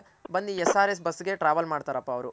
ಬನ್ನಿ SRS bus ಗೆ Travel ಮಾಡ್ತಾರಪ್ಪ ಅವ್ರು